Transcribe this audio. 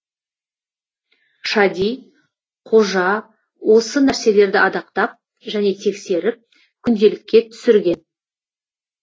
шади қожа осы нәрселерді адақтап және тексеріп күнделікке түсірген